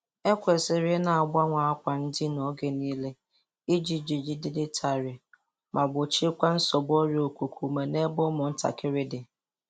E kwesịrị i na-agbanwe akwa ndina oge nịle iji jigideiịdị tarịị ma gbochiekwa nsogbu ọrịa okuku ume n'ebe ụmụ ntakịrị dị.